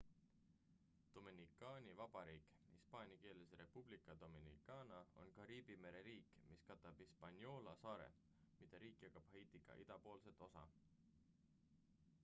dominikaani vabariik hispaania keeles: república dominicana on kariibi mere riik mis katab hispaniola saare mida riik jagab haitiga idapoolset osa